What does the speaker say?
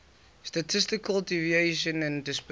statistical deviation and dispersion